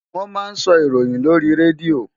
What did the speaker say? Wọ́n máa ń sọ ìròyìn lórí Radio.